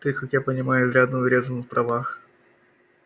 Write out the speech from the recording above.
ты как я понимаю изрядно урезана в правах